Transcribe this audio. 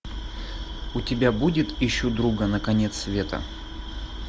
у тебя будет ищу друга на конец света